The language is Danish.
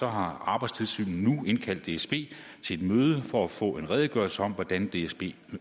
har arbejdstilsynet nu indkaldt dsb til et møde for at få en redegørelse om hvordan dsb